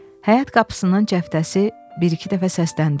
Həyat qapısının cəftəsi bir-iki dəfə səsləndi.